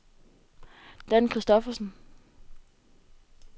Dan Kristoffersen